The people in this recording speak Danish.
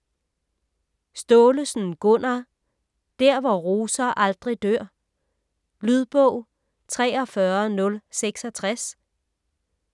Staalesen, Gunnar: Der hvor roser aldrig dør Lydbog 43066